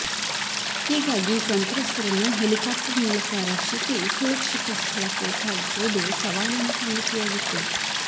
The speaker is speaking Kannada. ಹೀಗಾಗಿ ಸಂತ್ರಸ್ತರನ್ನು ಹೆಲಿಕಾಪ್ಟರ್ ಮೂಲಕ ರಕ್ಷಿಸಿ ಸುರಕ್ಷಿತ ಸ್ಥಳಕ್ಕೆ ಸಾಗಿಸುವುದು ಸವಾಲಿನ ಸಂಗತಿಯಾಗಿತ್ತು